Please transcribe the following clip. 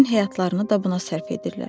Bütün həyatlarını da buna sərf edirlər.